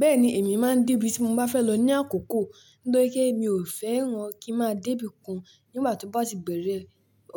Bẹ́ẹ̀ni, èmi máa ń dé ibi tí mo bá fẹ́ lọ ní àkókò, nítorí pé mi ò fẹ́ran kí ń máa dé ibi kan nígbà tí wọ́n bá ti bẹ̀rẹ̀